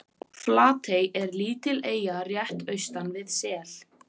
Flatey er lítil eyja rétt austan við Sel.